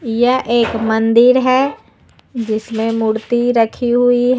यह एक मंदिर है जिसमें मूर्ति रखी हुई ह--